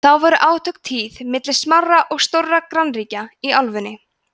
þá voru átök tíð milli smárra og stórra grannríkja í álfunni